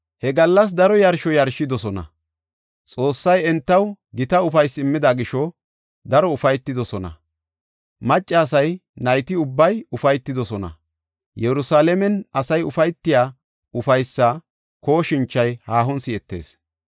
He gallas daro yarsho yarshidosona. Xoossay entaw gita ufaysi immida gisho daro ufaytidosona. Maccasay nayti ubbay ufaytidosona. Yerusalaamen asay ufaytiya ufaysa kooshinchay haahon si7etees.